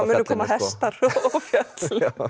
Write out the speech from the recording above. koma hestar og fjöll